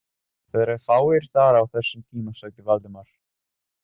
Það eru fáir þar á þessum tíma sagði Valdimar.